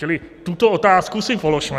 Čili tuto otázku si položme.